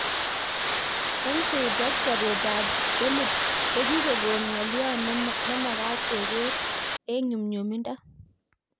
Nsaids ak chobetab polyp kokikokon ng'lio nemeket kekeer eng nyumnyumindo